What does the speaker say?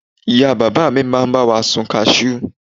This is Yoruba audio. ìyá bàbá mi ma ba mi sun cashew